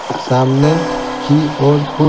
सामने की ओर कु--